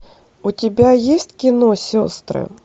у тебя есть кино сестры